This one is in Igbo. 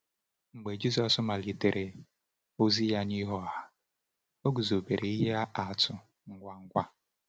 Mgbe Jisọs malitere ozi ya n’ihu ọha, o guzobere ihe atụ ngwa ngwa.